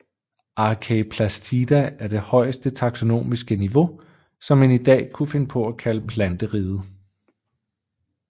Archaeplastida er det højeste taksonomiske niveau som man i dag kunne finde på at kalde Planteriget